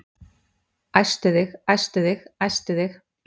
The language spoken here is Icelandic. Æstu þig, æstu þig, æstu þig.